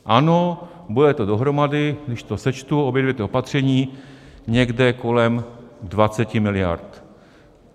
Ano, bude to dohromady, když to sečtu obě dvě ta opatření, někde kolem 20 miliard.